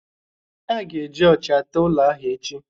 A ga-eji ocha tee ụlọ ahụ echi